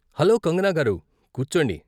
Hello, Kangana గారూ! కూర్చోండి.